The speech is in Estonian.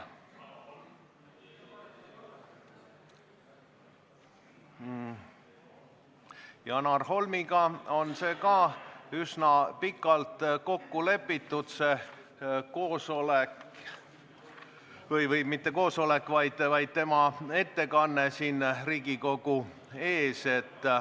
Janar Holmiga on tema ettekanne Riigikogu ees aga üsna pikalt ette kokku lepitud.